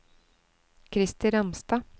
Christer Ramstad